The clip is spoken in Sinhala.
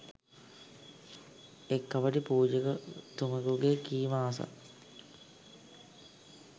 එක් කපටි පූජකතුමෙකුගේ කීම අසා